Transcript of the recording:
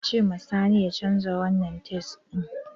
Ka ce ma sani ya canza wanan tais ɗin!